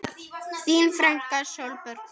Þín frænka Sólborg Þóra.